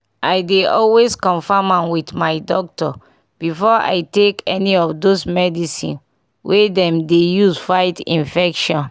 i dey always confirm am with my doctor before i take any of those medicine wey dem dey use fight infection